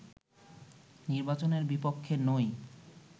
নির্বাচনের বিপক্ষে নই